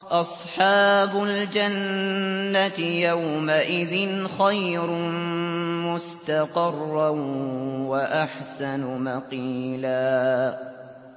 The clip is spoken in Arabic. أَصْحَابُ الْجَنَّةِ يَوْمَئِذٍ خَيْرٌ مُّسْتَقَرًّا وَأَحْسَنُ مَقِيلًا